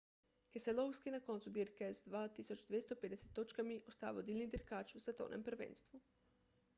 keselowski na koncu dirke z 2250 točkami ostaja vodilni dirkač v svetovnem prvenstvu